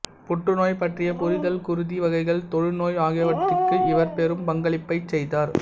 புற்றுநோய் பற்றிய புரிதல் குருதி வகைகள் தொழுநோய் ஆகியவற்றிக்கு இவர் பெரும் பங்களிப்புகளைச் செய்தார்